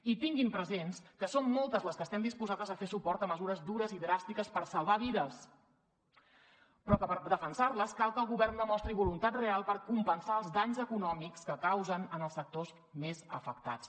i tinguin present que som moltes les que estem disposades a fer suport a mesures dures i dràstiques per salvar vides però que per defensar les cal que el govern demostri voluntat real per compensar els danys econòmics que causen en els sectors més afectats